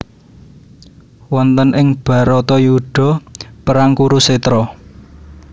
Wonten ing Bharatayuda perang Kurusetra